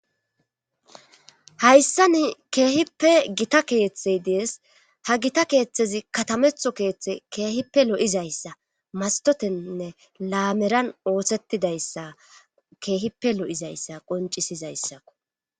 Hayssani keehippe gita keeththey dees ha gita keeththezi katametho keeththe keehippe lo'izayssa mastotennne laameran oothettidayssa keehippe lo'izayssa qoncisizayssakko.